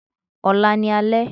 Ọ̀la ní alẹ́